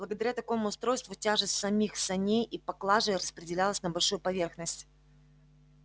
благодаря такому устройству тяжесть самих саней и поклажи распределялась на большую поверхность